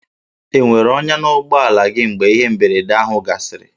E nwere ọnyà n'ụgbọala gị mgbe ihe mberede ahụ gasịrị?